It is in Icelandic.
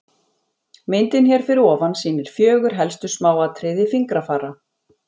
Myndin hér fyrir ofan sýnir fjögur helstu smáatriði fingrafara.